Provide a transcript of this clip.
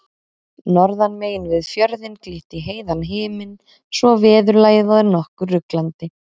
Norðan megin við fjörðinn glitti í heiðan himin svo veðurlagið var nokkuð ruglandi.